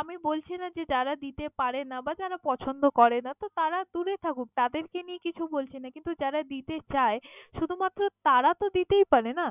আমি বলছি না যে যারা দিতে পারে না বা যারা পছন্দ করে না তো তারা দূরে থাকুক না তাদের কে নিয়ে কিছু বলছি না, বা যারা দিতে চায় শুধু মাত্র তারা তো দিতেই পারে না?